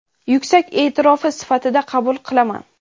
yuksak e’tirofi sifatida qabul qilaman.